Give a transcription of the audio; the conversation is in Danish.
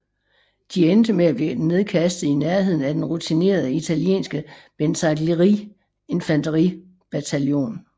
De endte med at blive nedkastet i nærheden af den rutinerede italienske Bersaglieri infanteri bataljon